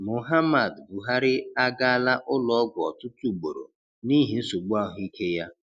Muhamad Buhari agaala ụlọọgwụ ọtụtụ ugboro n'ihi nsogbu ahụike ya.